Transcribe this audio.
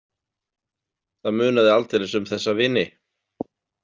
Það munaði aldeilis um þessa vini.